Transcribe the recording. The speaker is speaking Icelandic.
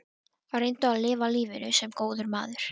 Reyndu að lifa lífinu- sem góður maður.